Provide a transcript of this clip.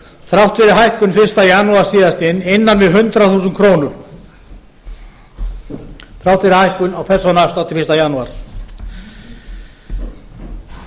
þrátt fyrir hækkun fyrsta janúar síðastliðnum innan við hundrað þúsund krónur þrátt fyrir hækkun á persónuafslætti fyrsta janúar við getum